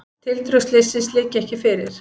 Tildrög slyssins liggja ekki fyrir.